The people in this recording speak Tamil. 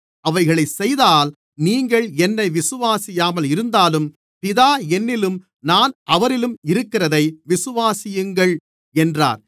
அவைகளை செய்தால் நீங்கள் என்னை விசுவாசியாமல் இருந்தாலும் பிதா என்னிலும் நான் அவரிலும் இருக்கிறதை நீங்கள் அறிந்து விசுவாசிக்கும்படி அந்தச் செயல்களை விசுவாசியுங்கள் என்றார்